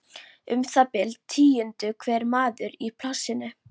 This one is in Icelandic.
Um það bil tíundi hver maður í plássinu.